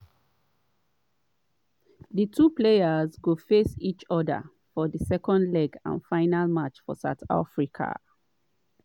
di two teams go face each oda for di second leg and final match for south africa.